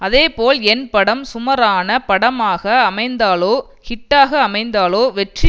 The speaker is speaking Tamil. அதேபோல் என் படம் சுமரான படமாக அமைந்தாலோ ஹிட்டாக அமைந்தாலோ வெற்றி